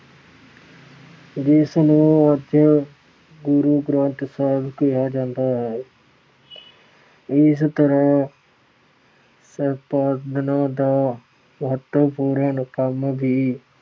ਜਿਸ ਨੂੰ ਅੱਜ ਗੁਰੂ ਗ੍ਰੰਥ ਸਾਹਿਬ ਕਿਹਾ ਜਾਂਦਾ ਹੈ। ਇਸ ਤਰ੍ਹਾਂ ਸੰਪਾਦਨਾ ਦਾ ਮਹੱਤਵਪੂਰਨ ਕੰਮ ਵੀ